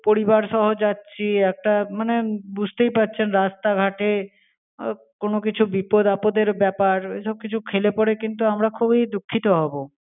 পরিবার সহ যাচ্ছি একটা, মানে বুঝতেই পারছেন, রাস্তা ঘাটে আহ কোনো কিছু বিপদ আপদের ব্যাপার, এসব কিছু খেলে পরে আমরা কিন্তু খুবি দুঃখিত হব।